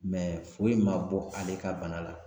Mɛ foyi ma bɔ ale ka bana la .